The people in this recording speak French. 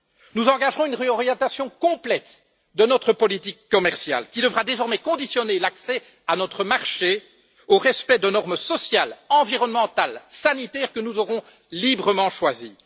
Nous engagerons une réorientation complète de notre politique commerciale, qui devra désormais conditionner l'accès à notre marché au respect de normes sociales, environnementales et sanitaires que nous aurons librement choisies.